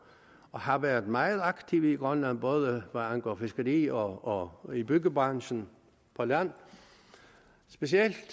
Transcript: har været meget aktive i grønland både hvad angår fiskeri og og i byggebranchen på land specielt